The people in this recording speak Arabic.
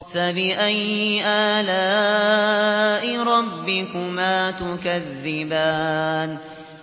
فَبِأَيِّ آلَاءِ رَبِّكُمَا تُكَذِّبَانِ